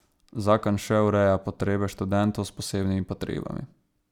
Zakon še ureja potrebe študentov s posebnimi potrebami.